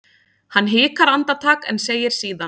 Hann hikar andartak en segir síðan